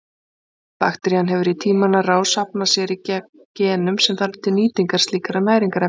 Bakterían hefur í tímans rás safnað sér genum sem þarf til nýtingar slíkra næringarefna.